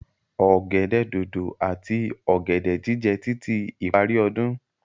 Ọ̀gẹ̀dẹ̀ dodo ati ọ̀gẹ̀dẹ̀ jíjẹ títí ìparí ọdún.